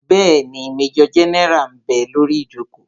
Bẹ́ẹ̀ni, majọ gẹ́nẹ́rà ḿ bẹ lórí ìjòkó